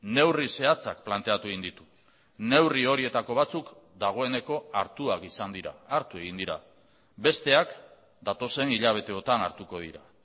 neurri zehatzak planteatu egin ditu neurri horietako batzuk dagoeneko hartuak izan dira hartu egin dira besteak datozen hilabeteotan hartuko dira